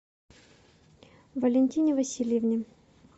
валентине васильевне